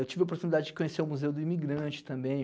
Eu tive a oportunidade de conhecer o Museu do Imigrante também.